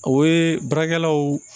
O ye baarakɛlaw